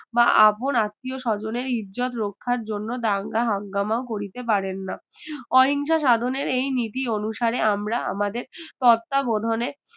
বা আপন আত্মীয়-স্বজনের ইজ্জত রক্ষার জন্য দাঙ্গা হাঙ্গামা করিতে পারেন না অহিংসা সাধনের এই নীতি অনুসারে আমরা আমাদের তত্ত্বাবধানে